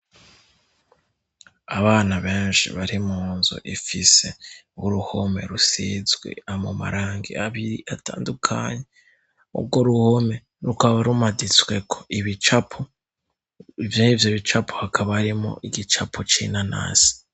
Abana benshi bari mu nzu ifise uruhome rusizwe amarangi abiri atandukanye, urwo ruhume rukaba rumaditswe ko ibicapo, ben'ivyo bicapo hakaba harimwo igicapo c'inanasi.